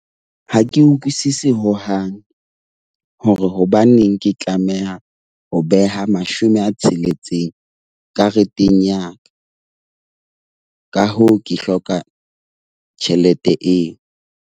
Ha ke utlwisisi hohang hore hobaneng ke tlameha ho beha mashome a tsheletseng kareteng ya ka. Ka hoo, ke hloka tjhelete eo.